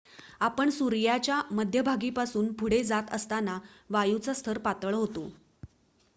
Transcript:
आपण सूर्याच्या मध्यभागीपासून पुढे जात असताना वायूचा स्तर पातळ होतो